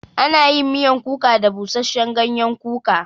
Ana yin miyan kuka da busashen gayen kuka